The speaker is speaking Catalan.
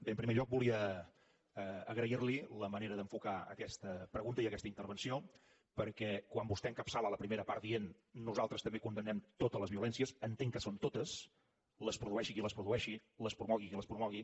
bé en primer lloc volia agrair li la manera d’enfocar aquesta pregunta i aquesta intervenció perquè quan vostè encapçala la primera part dient nosaltres també condemnem totes les violències entenc que són totes les produeixi qui les produeixi les promogui qui les promogui